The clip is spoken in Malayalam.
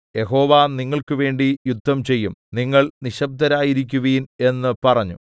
യഹോവ നിങ്ങൾക്കുവേണ്ടി യുദ്ധം ചെയ്യും നിങ്ങൾ നിശ്ശബ്ബ്ദരായിരിക്കുവിൻ എന്ന് പറഞ്ഞു